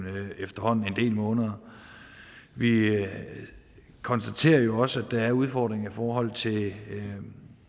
efterhånden en del måneder vi konstaterer jo også at der er udfordringer i forhold til